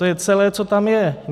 To je celé, co tam je.